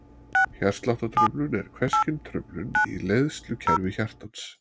Hjartsláttartruflun er hvers kyns truflun í leiðslukerfi hjartans.